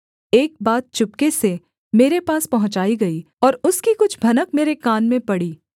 एक बात चुपके से मेरे पास पहुँचाई गई और उसकी कुछ भनक मेरे कान में पड़ी